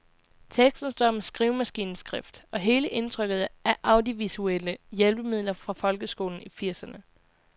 Teksten står med skrivemaskineskrift, og hele indtrykket er af audiovisuelle hjælpemidler fra folkeskolen i firserne.